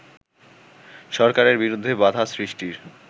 সরকারের বিরুদ্ধে বাধা সৃষ্টির